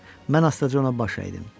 Mən astaca ona baş əydim.